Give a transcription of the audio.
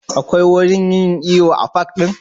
Akwai wurin yin iyo a fak ne?